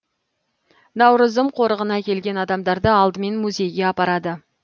наурызым қорығына келген адамдарды алдымен музейге апарады